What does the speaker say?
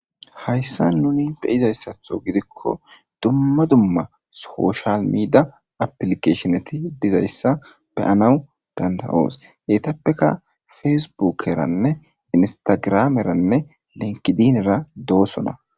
hayssa nuni be izayssatho gidikko dumma dumma soshal miida aplikeshoneti dizayssa beyanawu dandawoos yetappeka fesbukeranne instagrameranne lenkidinera doosona